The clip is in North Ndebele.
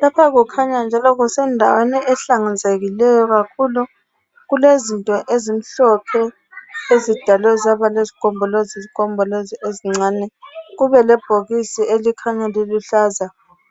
Lapha kukhanya njalo kusendaweni ehlanzekileyo kakhulu. Kulezinto ezimhlophe ezidalwe zaba lezigombolozi gombolozi ezincane. Kube lebhokisi elikhanya liluhlaza .